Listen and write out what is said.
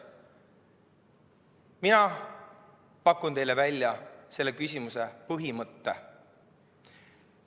Mina pakun teile välja selle küsimuse põhimõtte.